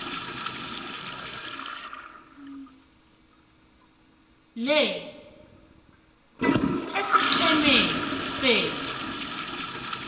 le esiqhemeni senu